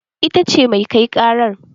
Ita ce mai kai ƙaran